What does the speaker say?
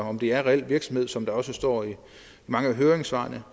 om det er en reel virksomhed sådan som der også står i mange af høringssvarene